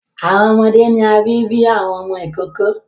Awọn ọmọde ni a bi bi awọn ọmọ ikoko